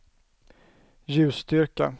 ljusstyrka